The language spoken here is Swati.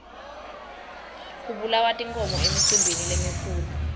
kubulawa tinkhomo emicimbini lemikhulu